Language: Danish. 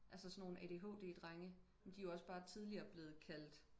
altså sådan nogle adhd drenge men de er jo bare tidligere blevet kaldt